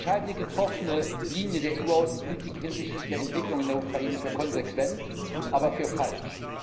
Ich halte die getroffene Linie der EU Außenpolitik hinsichtlich der Entwicklung in der Ukraine für konsequent, aber für falsch.